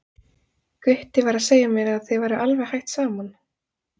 Gutti var að segja mér að þið væruð alveg hætt saman.